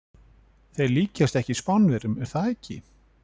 Þeir líkjast okkur Spánverjum, er það ekki?